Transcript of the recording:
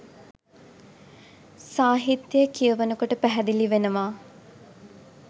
සාහිත්‍යය කියවනකොට පැහැදිලි වෙනවා.